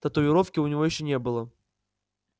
татуировки у него ещё не было